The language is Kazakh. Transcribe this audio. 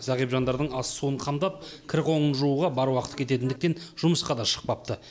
зағип жандардың ас суын қамдап кір қоңын жууға бар уақыты кететіндіктен жұмысқа да шықпапты